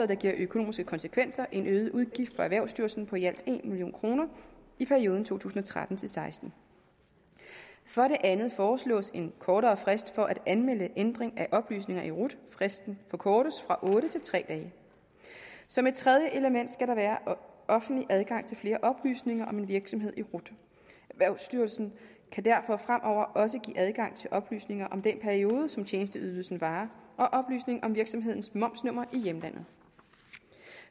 der giver økonomiske konsekvenser nemlig en øget udgift for erhvervsstyrelsen på i alt en million kroner i perioden to tusind og tretten til seksten for det andet foreslås en kortere frist for at anmelde ændring af oplysninger i rut fristen forkortes fra otte til tre dage som et tredje element skal der være offentlig adgang til flere oplysninger om en virksomhed i rut erhvervsstyrelsen kan derfor fremover også give adgang til oplysninger om den periode som tjenesteydelsen varer og oplysning om virksomhedens momsnummer i hjemlandet